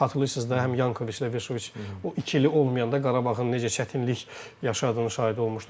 Xatırlayırsınız da, həm Yankoviçlə Veşoviç o iki ili olmayanda Qarabağın necə çətinlik yaşadığının şahidi olmuşdu.